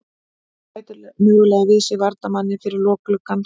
Bæta mögulega við sig varnarmanni fyrir lok gluggans.